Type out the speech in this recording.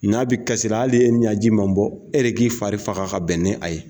N'a bɛ kasila, ali ni e ɲɛji ma bɔ, e k'i fari faga ka bɛn n'a ye.